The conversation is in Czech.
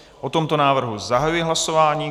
O tomto návrhu zahajuji hlasování.